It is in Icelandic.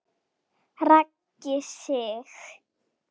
Raggi Sig.